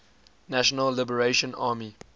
national liberation army